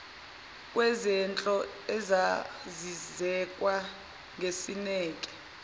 kwezehlo ezazizekwa ngesineke